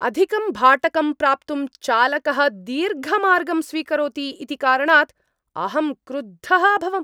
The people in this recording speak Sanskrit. अधिकं भाटकं प्राप्तुं चालकः दीर्घमार्गं स्वीकरोति इति कारणात् अहं क्रुद्धः अभवम्।